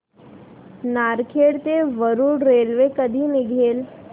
नरखेड ते वरुड रेल्वे कधी निघेल